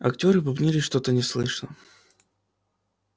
актёры бубнили что-то неслышно